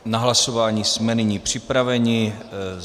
Na hlasování jsme nyní připraveni.